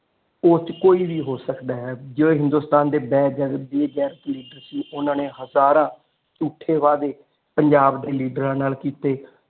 ਉਸ ਚ ਕੋਈ ਵੀ ਹੋ ਸਕਦਾ ਜਿਹੜੇ ਹਿੰਦੁਸਤਾਨ ਦੇ ਬੈਜਰ ਬੇਜਰ ਲੀਡਰ ਸੀ ਓਨਾ ਨੇ ਹਜ਼ਾਰਾਂ ਝੂਠੇ ਵਾਅਦੇ ਪੰਜਾਬ ਦੇ ਲੀਡਰਾਂ ਨਾਲ ਕੀਤੇ।